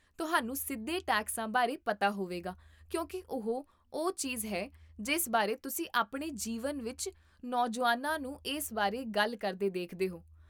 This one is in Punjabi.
ਤੁਹਾਨੂੰ ਸਿੱਧੇ ਟੈਕਸਾਂ ਬਾਰੇ ਪਤਾ ਹੋਵੇਗਾ ਕਿਉਂਕਿ ਇਹ ਉਹ ਚੀਜ਼ ਹੈ ਜਿਸ ਬਾਰੇ ਤੁਸੀਂ ਆਪਣੇ ਜੀਵਨ ਵਿੱਚ ਨੌਜੁਆਨਾਂ ਨੂੰ ਇਸ ਬਾਰੇ ਗੱਲ ਕਰਦੇ ਦੇਖਦੇ ਹੋ